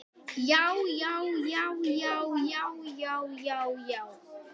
JÁ, JÁ, JÁ, JÁ, JÁ, JÁ, JÁ, JÁ.